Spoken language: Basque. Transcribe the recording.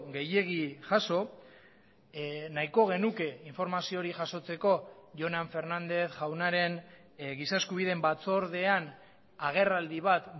gehiegi jaso nahiko genuke informazio hori jasotzeko jonan fernández jaunaren giza eskubideen batzordean agerraldi bat